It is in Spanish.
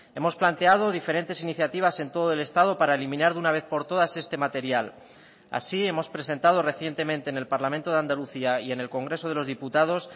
hemos planteado diferentes iniciativas en todo el estado para eliminar de una vez por todas este material así hemos presentado recientemente en el parlamento de andalucía y en el congreso de los diputados